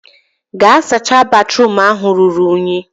gaa sacha batruum ahụ ruru unyi!